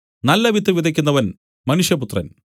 നല്ലവിത്ത് വിതയ്ക്കുന്നവൻ മനുഷ്യപുത്രൻ